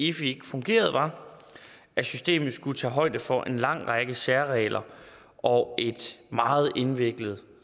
efi ikke fungerede var at systemet skulle tage højde for en lang række særregler og et meget indviklet